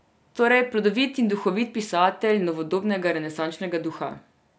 Torej plodovit in duhovit pisatelj novodobnega renesančnega duha.